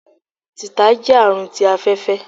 títà jẹ àrùn tí afẹfẹ